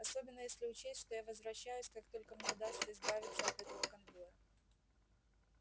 особенно если учесть что я возвращаюсь как только мне удастся избавиться от этого конвоя